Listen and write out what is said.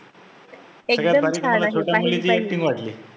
सगळ्यात भारी मला छोट्या मुलीची acting वाटली.